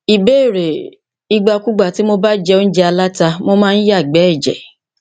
ìbéèrè ìgbàkúùgbà tí mo bá jẹ óúnjẹ aláta mo máa ń yàgbé ẹjẹ